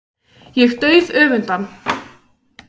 Ég dauðöfunda hann.